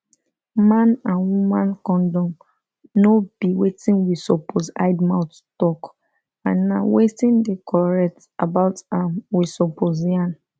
man and woman condom no be wetin we suppose hide mouth talk and na wetin dey correct about am we suppose yarn